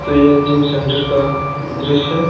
तो यह gym centre का दृश्य--